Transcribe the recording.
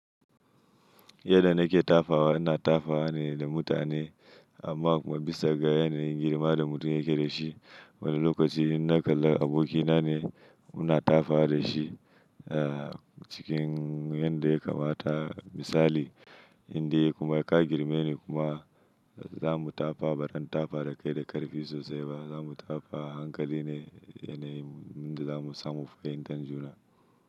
Yanda nake tafawa ina tafawa ne da mutane amma kuma bisa ga yanayin girma da mutum yake da shi. Wani lokaci in na kalla aboki na ne muna tafawa da shi cikin yanda ya kamata. Misali inde kuma ka girme ni kuma za mu tafa ba zan tafa da kai da karfi sosai ba. Za mu tafa a hankali ne, yanayin inda za mu samu fahimtar juna.